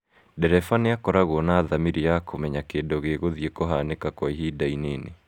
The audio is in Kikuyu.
Ndereba nĩ akoragwo na thamiri ya kũmenya kĩndũ gĩgũthii kũhanĩka kwa ihinda inini.